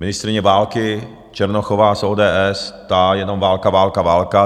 Ministryně války Černochová z ODS, ta jenom: válka, válka, válka.